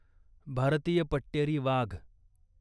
भारतीय पट्टेरी वाघ